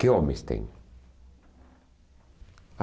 Que homens tem?